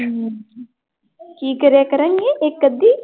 ਹਮ ਕੀ ਕਰਿਆ ਕਰੇਂਗੀ ਇੱਕ ਅੱਧੀ?